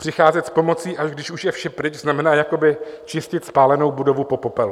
Přicházet s pomocí, až když už je vše pryč, znamená jakoby čistit spálenou budovu od popela.